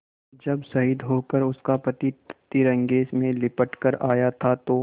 जब शहीद होकर उसका पति तिरंगे में लिपट कर आया था तो